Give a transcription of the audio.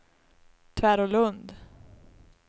Tvärålund